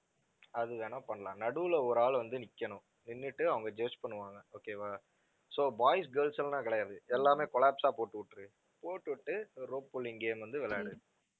அது வேணா பண்ணலாம். நடுவில ஒரு ஆள் வந்து நிக்கணும் நின்னுட்டு அவங்க பண்ணுவாங்க okay வா, so boys, girls எல்லாம் கிடையாது எல்லாமே collapse ஆ போட்டு விட்டுடு. போட்டுவிட்டு rope polling game வந்து விளையாடு.